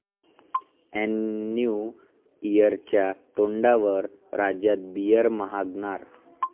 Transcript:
ऐन न्यू इयरच्या तोंडावर राज्यात बीअर महागणार